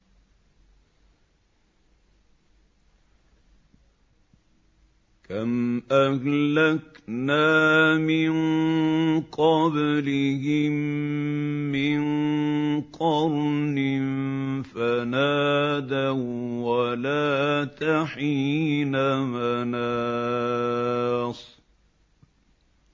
كَمْ أَهْلَكْنَا مِن قَبْلِهِم مِّن قَرْنٍ فَنَادَوا وَّلَاتَ حِينَ مَنَاصٍ